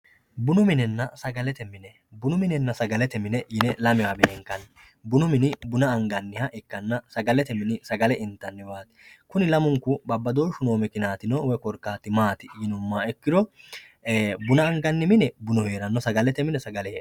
Bunu minnena sagalete mine binu minenna sagalete mine yine lamewa benkanni bunu mini buna aniganiha ikana sagamete minni sagame initaniwati huni lamunku babadoshu no mikiniyatino woyi korikatino mati yinumoha ikito buna anganni mi e bunu herano sagalete mine sagale hedhano